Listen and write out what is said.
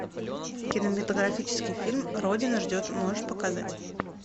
кинематографический фильм родина ждет можешь показать